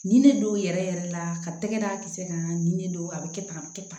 Nin ne don yɛrɛ yɛrɛ la ka tɛgɛ da kisɛ kan nin ne don a bɛ kɛ tan a bɛ kɛ tan